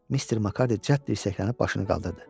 Mister Makardiy cəld dirsəklənib başını qaldırdı.